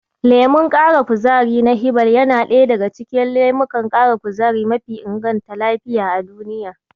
Lemon ƙara kuzari na Hiball yana ɗaya daga cikin lemukan ƙara kuzari mafi inganta lafiya a duniya.